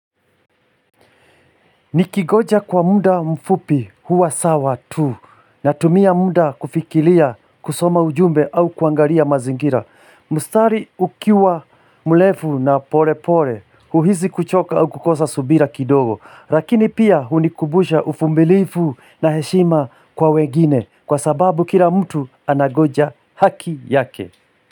Nikigoja kwa muda mfupi huwa sawa tu na tumia muda kufikilia kusoma ujumbe au kuangaria mazingira. Mistariti ukiwa mrefu na pole pole uhizi kuchoka au kukosa subira kidogo. Lakini pia hunikumbusha uvumilifu na heshima kwa wegini kwa sababu kila mtu anagoja haki yake.